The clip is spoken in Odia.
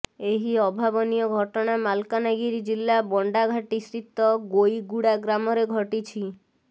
ଏହି ଅଭାବନୀୟ ଘଟଣା ମାଲକାନଗିରି ଜିଲ୍ଲା ବଣ୍ଡା ଘାଟି ସ୍ଥିତ ଗୋଇଗୁଡା ଗ୍ରାମରେ ଘଟିଛି